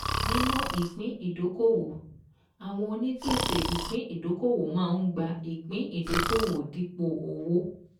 Nípa ìpín ìdókòwò, àwọn onípèsè ìpín ìdókòwò máa ń gba ìpín ìdókòwò dípò owó.